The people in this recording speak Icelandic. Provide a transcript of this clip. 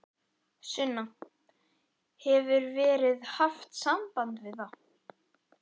Sunna: Hefur verið haft samband við þá?